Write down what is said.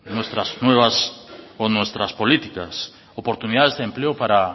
nuestras nuevas o nuestras políticas oportunidades de empleo para